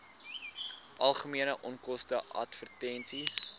algemene onkoste advertensies